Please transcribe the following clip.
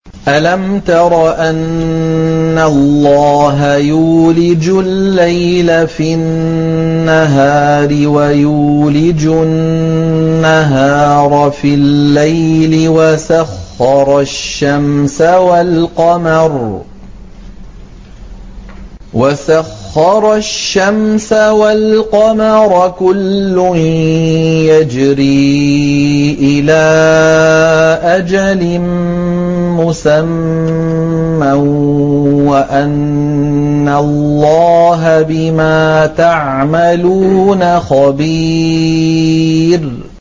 أَلَمْ تَرَ أَنَّ اللَّهَ يُولِجُ اللَّيْلَ فِي النَّهَارِ وَيُولِجُ النَّهَارَ فِي اللَّيْلِ وَسَخَّرَ الشَّمْسَ وَالْقَمَرَ كُلٌّ يَجْرِي إِلَىٰ أَجَلٍ مُّسَمًّى وَأَنَّ اللَّهَ بِمَا تَعْمَلُونَ خَبِيرٌ